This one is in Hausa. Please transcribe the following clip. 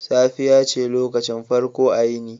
Safiya ce lokacin farko a yini.